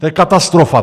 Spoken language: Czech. To je katastrofa.